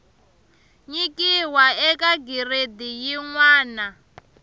nyikiwa eka giredi yin wana